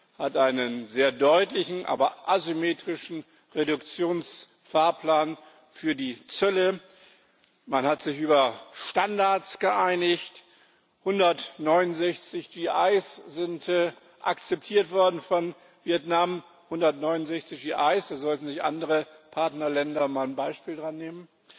Es hat einen sehr deutlichen, aber asymmetrischen Reduktions Fahrplan für die Zölle, man hat sich über Standards geeinigt, 169 GIs sind akzeptiert worden von Vietnam 169 GIs daran sollten sich andere Partnerländer mal ein Beispiel nehmen.